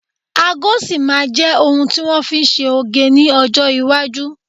Ago sì máa jẹ ohun ti wọn fi ń ṣe oge ní ọjọ́ Iwájú